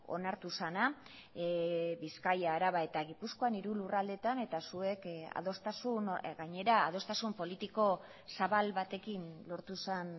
onartu zena bizkaia araba eta gipuzkoan hiru lurraldeetan eta zuek adostasun gainera adostasun politiko zabal batekin lortu zen